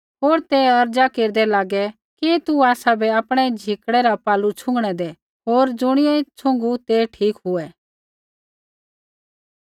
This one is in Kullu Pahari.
होर ते अर्ज़ा केरदै लागै कि तू आसाबै आपणै झिकड़ै रा पल्लू छ़ुँगणै दै होर ज़ुणियै छ़ुँगू ते ठीक हुऐ